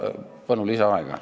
Palun lisaaega!